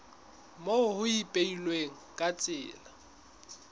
moo ho ipehilweng ka tsela